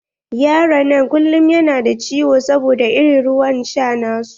Yaron nan kullum yana ciwo saboda irin ruwan sha na su.